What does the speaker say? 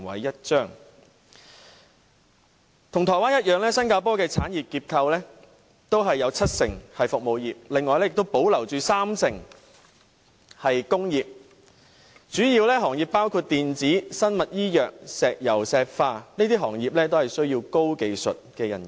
與台灣一樣，新加坡的產業結構有七成是服務業，另外三成是工業，主要行業包括電子、生物醫藥、石油石化，都需要高技術人員。